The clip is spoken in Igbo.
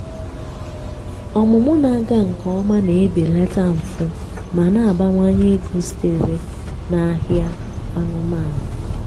ọmụmụ na-aga nke ọma na-ebelata mfu ma na-abawanye ego sitere n'ahịa anụmanụ.